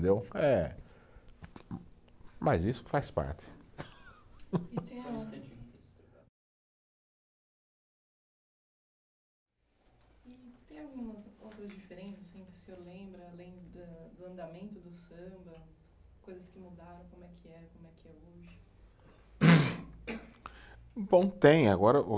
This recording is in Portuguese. Eh, mas isso faz parte. E Tem. Preciso trocar. E tem algumas outras diferenças assim que o senhor lembra, além da do andamento do samba, coisas que mudaram, como é que era e como é que é hoje? Bom, tem, agora o